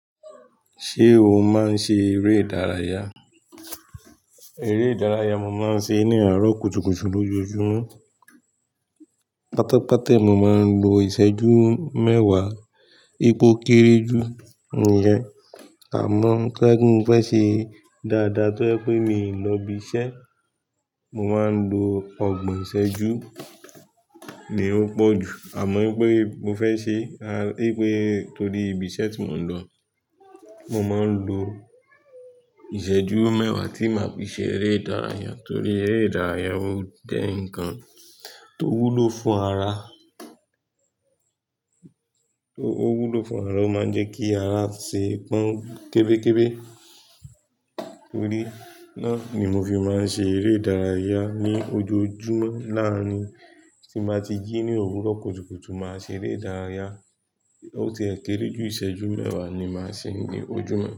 Ṣé o máa ń ṣe eré ìdárayá? Eré ìdárayá, mo máa ń ṣe ní àárọ̀ kùtùkùtù lójoojúmọ́. Pátápátá, èmi máa ń lo ìṣẹ́jú mẹ́wàá. Nipo kéré jù nìyẹn. Àmọ́ toba je pe mo fẹ́ ṣe dáadáa tí ó je pé mi ò lọ ibi iṣẹ́, mo máa ń lo ọgbọ̀n ìṣẹ́jú, ni ó pọ̀ jù. Àmọ́ pé mo fẹ́ ṣe, a, pé torí ibi iṣẹ́ tí mò ń lọ, mo máa ń lo ìṣẹ́jú mẹ́wàá tí máa fi ṣe eré ìdárayá. Torí eré ìdárayá ó jẹ̀ ǹkan tó wúlò fún ara, tó, ó wúlò fún ara, ó máa ń jẹ́ kí ara ṣe pọ́n kébékébé. Torí náà ni mo fi máa ń ṣe eré ìdárayá ní ojoojúmọ́. Láàárin tí máa ti jí ní òwúrọ̀ kùtùkùtù, màá ṣe eré ìdárayá. Ó ti é kéré jù, ìṣẹ́jú mẹ́wàá ni màá ṣe ní ojúmọ́.